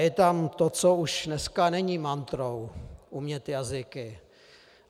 Je tam to, co už dneska není mantrou - umět jazyky.